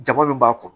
Jaba min b'a kɔrɔ